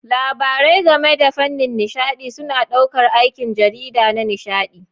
Labarai game da fannin nishaɗi suna ɗaukar aikin jarida na nishaɗi.